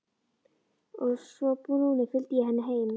Að svo búnu fylgdi ég henni heim.